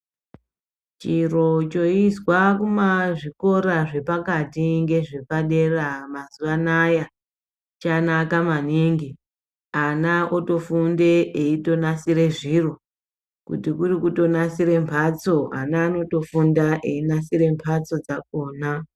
Chiro choizwa kumazvikora zvepakati ngezvepadera mazuwa anaya, chanaka maningi, ana otofunda eitonasira zviro kuti kurikutonasire mhatso, ana anatofunda einasire mbatso dzakhona.